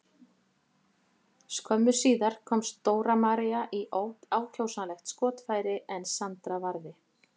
Skömmu síðar komst Dóra María í ákjósanlegt skotfæri en Sandra varði.